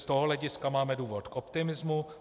Z tohoto hlediska máme důvod k optimismu.